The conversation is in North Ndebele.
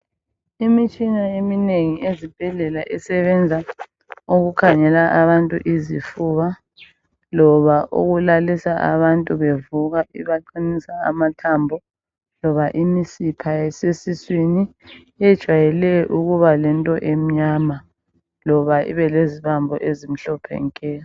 Imitshina eminengi ezibhedlela isebenza ukukhangela abantu izifuba loba ukulalisa abantu bevuka ibaqinisa amathambo loba imisipha esesiswini ejwayele ukuba lento emnyama. Loba ibe lezibambo ezimhlophe nke.